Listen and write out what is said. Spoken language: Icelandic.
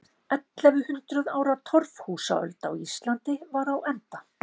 Ellefu hundruð ára torfhúsaöld á Íslandi var á enda.